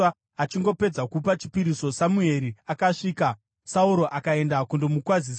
Achingopedza kupa chipiriso, Samueri akasvika, Sauro akaenda kundomukwazisa.